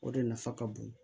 O de nafa ka bon